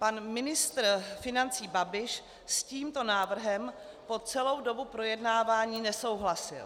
Pan ministr financí Babiš s tímto návrhem po celou dobu projednávání nesouhlasil.